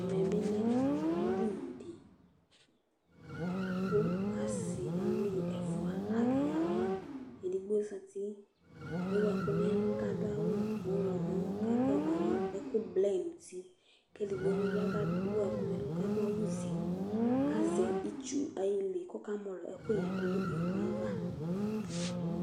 ɛmɛ bi lɛ udunu di kò asi alowini ɛfua ake ya awɛ edigbo zati k'ewu ɛkò n'ɛlu k'adu awu ɔwlɔmɔ k'akɔ awu ɛkó blu n'uti k'edigbo bi ya k'ewu ɛkò n'ɛlu k'adu awu zi k'azɛ itsu ayi ile k'ɔka mɔlɔ ɛkoyɛ do n'ivu ava